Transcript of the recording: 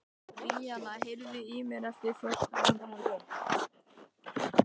Bríanna, heyrðu í mér eftir fjórtán mínútur.